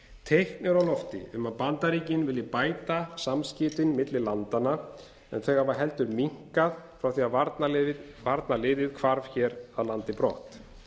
teikn eru á lofti um að bandaríkin vilji bæta samskiptin milli landanna en þau hafa heldur minnkað frá því að varnarliðið hvarf af landi brott